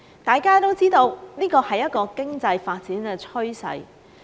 大家都知道，這是經濟發展的趨勢。